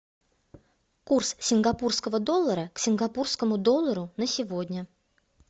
курс сингапурского доллара к сингапурскому доллару на сегодня